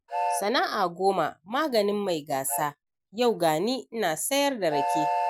Sana'a goma maganin mai gasa, yau gani ina sayar da rake.